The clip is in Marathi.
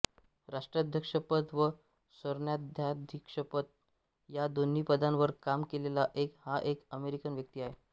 राष्ट्राध्यक्षपद व सरन्यायाधीशपद या दोन्ही पदांवर काम केलेला हा एकमेव अमेरिकन व्यक्ती आहे